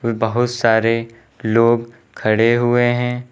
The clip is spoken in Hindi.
और बहोत सारे लोग खड़े हुए हैं।